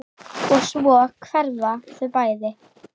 Og svo hverfa þau bæði.